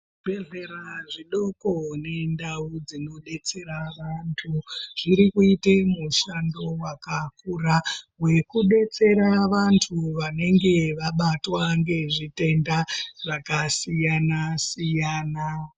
Zvibhedhlera zvidoko nendao dzinobetsera antu zvirkuite mushando wakakura wekubetsera vantu vanenge vabatwa ngezvitenda zvakasiyana siyana.